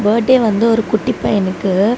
Birthday வந்து ஒரு குட்டி பையனுக்கு.